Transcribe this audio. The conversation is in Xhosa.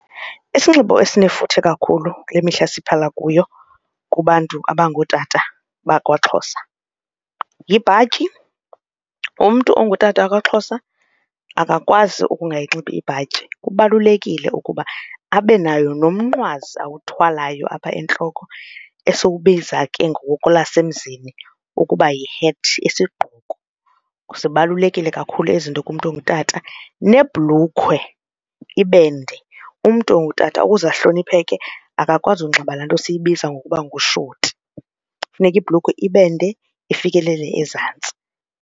Isinxibo esinefuthe kakhulu kule mihla siphala kuyo kubantu abangootata bakwaXhosa yibhatyi, umntu ongutata wakwaXhosa akakwazi ukungayinxiba ibhatyi. Kubalulekile ukuba abe nayo nomnqwazi awuthwalayo apha entloko esiwubiza ke ngokwelasemzini ukuba yi-hat, isigqoko, zibalulekile kakhulu ezi zinto kumntu ongutata, nebhulukhwe ibe nde. Umntu ongutata ukuze ahlonipheke akakwazi ukunxiba laa nto siyibiza ngokuba ngushoti, kufuneka ibhulukhwe ibe nde ifikelele ezantsi.